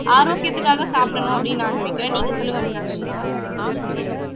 ஆரோக்கியத்துக்காக சாப்பிடணும் அப்படின்னு நான் நினைக்கிறேன் நீங்க சொல்லுங்க மீனாட்சி